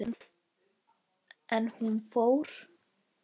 En hún fór.